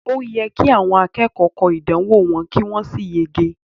O yẹ ki àwọn akẹ́kọ̀ọ́ kọ ìdánwò wọn ki wọn sì yege.